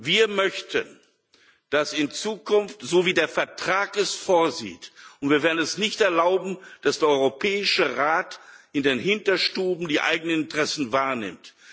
Wir möchten, dass in Zukunft so vorgegangen wird, wie der Vertrag es vorsieht und wir werden es nicht erlauben, dass der Europäische Rat in den Hinterstuben die eigenen Interessen wahrnimmt.